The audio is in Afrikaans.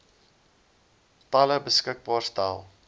tale beskikbaar stel